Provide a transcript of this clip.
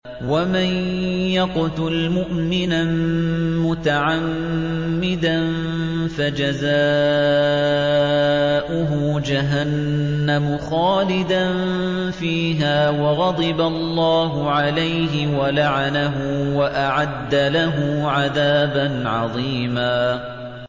وَمَن يَقْتُلْ مُؤْمِنًا مُّتَعَمِّدًا فَجَزَاؤُهُ جَهَنَّمُ خَالِدًا فِيهَا وَغَضِبَ اللَّهُ عَلَيْهِ وَلَعَنَهُ وَأَعَدَّ لَهُ عَذَابًا عَظِيمًا